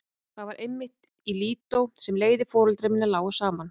Það var einmitt í Lídó sem leiðir foreldra minna lágu saman.